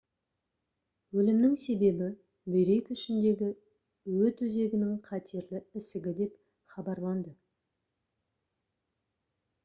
өлімнің себебі бүйрек ішіндегі өт өзегінің қатерлі ісігі деп хабарланды